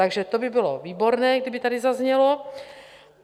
Takže to by bylo výborné, kdyby tady zaznělo.